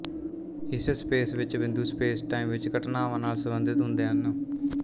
ਇਸ ਸਪੇਸ ਵਿੱਚ ਬਿੰਦੂ ਸਪੇਸਟਾਈਮ ਵਿੱਚ ਘਟਨਾਵਾਂ ਨਾਲ ਸਬੰਧਿਤ ਹੁੰਦੇ ਹਨ